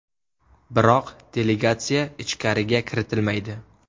Biroq delegatsiya ichkariga kiritilmaydi.